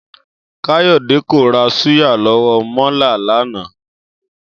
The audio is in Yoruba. Káyò̩dé kò ra súyà ló̩wó̩ mó̩la̩ lánàá